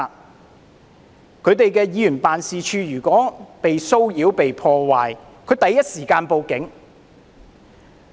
如果他們的議員辦事處被騷擾、被破壞，他們第一時間報警。